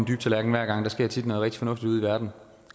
dybe tallerken hver gang der sker tit noget rigtig fornuftigt ude i verden